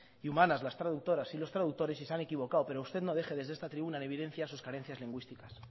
y humanas las traductoras y los traductores y se han equivocado pero usted no deje desde esta tribuna en evidencia sus carencias lingüísticas